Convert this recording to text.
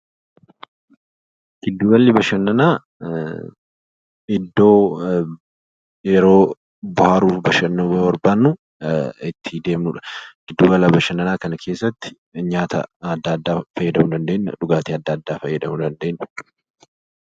Giddu galli bashannanaa iddoo yeroj bohaaruu bashannanuu barbaannu itti deemnudha. Giddu gala bashannanaa kana keessatti nyaata adda addaa fayyadamuu dandeenya, dhugaatii adda addaa fayyadamuu dandeenya.